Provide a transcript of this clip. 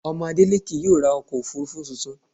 Ọmọ Adélékè yóò ra ọkọ̀-òfurufú tuntun.